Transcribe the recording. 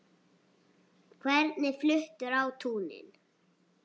Hvernig fluttur á túnin?